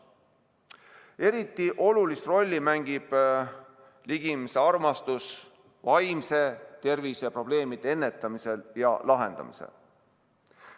Eriti olulist rolli mängib ligimesearmastus vaimse tervise probleemide ennetamisel ja lahendamisel.